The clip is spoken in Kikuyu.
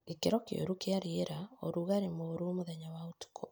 Gĩkĩro kĩũru kĩa rĩera. ũrugarĩ mũru mũthenya wa ũtukũ